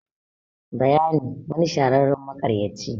bayani. wani shahararren makaryaci